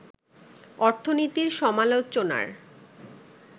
অর্থনীতির সমালোচনার